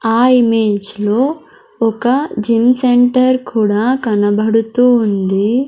ఆ ఇమేజ్లో ఒక జిమ్ సెంటర్ కూడా కనబడుతూ ఉంది.